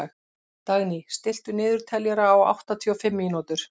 Dagný, stilltu niðurteljara á áttatíu og fimm mínútur.